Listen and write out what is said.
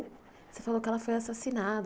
Você falou que ela foi assassinada.